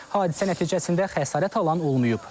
Hadisə nəticəsində xəsarət alan olmayıb.